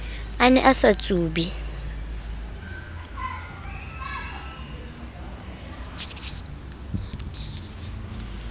a ne a sa tsube